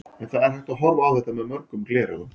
En það er hægt að horfa á þetta með mörgum gleraugum.